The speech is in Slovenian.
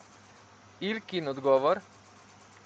Ilkin odgovor?